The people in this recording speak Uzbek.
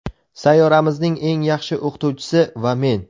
Sayyoramizning eng yaxshi o‘qituvchisi va men.